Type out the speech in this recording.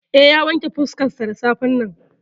Eh, ya wanke fuskarsa da safen nan.